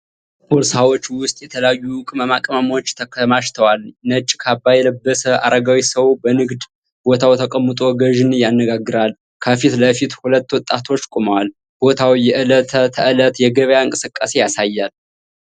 ቦርሳዎች ውስጥ የተለያዩ ቅመማ ቅመሞች ተከማችተዋል። ነጭ ካባ የለበሰ አረጋዊ ሰው በንግድ ቦታው ተቀምጦ ገዢን ያነጋግራል። ከፊት ለፊት ሁለት ወጣቶች ቆመዋል። ቦታው የዕለት ተዕለት የገበያ እንቅስቃሴን ያሳያል።